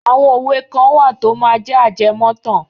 Àwọn òwe kan wà tó máa jẹ́ ajẹmọ́tàn.